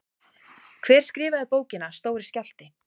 Hver skrifaði bókina Stóri skjálfti?